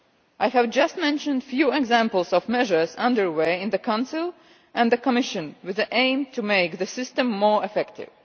I have just mentioned a few examples of measures underway in the Council and the Commission with the aim to make the system more effective.